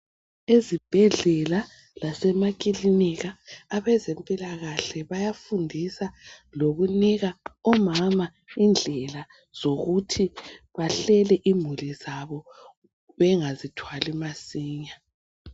Ezibhedlela lasemakilinika abezempila kahle bayafundisa lokunika omama indlela zokuthi bahlele imuli zabo bengazithwali masinya.